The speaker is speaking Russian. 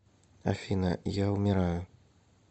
афина я умираю